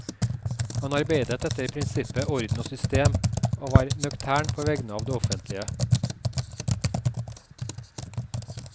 Han arbeidet etter prinsippet orden og system, og var nøktern på vegne av det offentlige.